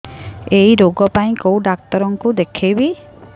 ଏଇ ରୋଗ ପାଇଁ କଉ ଡ଼ାକ୍ତର ଙ୍କୁ ଦେଖେଇବି